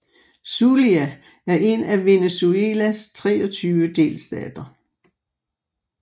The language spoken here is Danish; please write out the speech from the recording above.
Zulia er en af Venezuelas 23 delstater